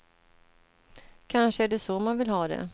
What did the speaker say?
Kanske är det så man vill ha det.